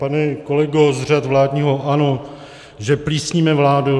Pane kolego z řad vládního ANO, že plísníme vládu.